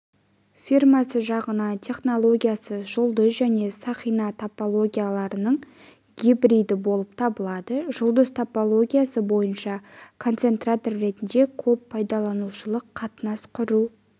фирмасы жасаған технологиясы жұлдыз және сақина топологияларының гибриді болып табылады жұлдыз топологиясы бойынша концентратор ретінде көп пайдаланушылық қатынас құру